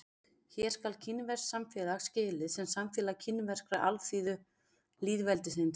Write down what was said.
Hér skal kínverskt samfélag skilið sem samfélag Kínverska alþýðulýðveldisins.